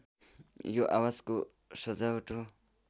यो आवाजको सजावाट हो